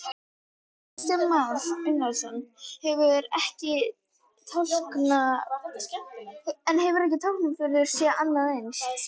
Kristján Már Unnarsson: En hefur Tálknafjörður séð annað eins?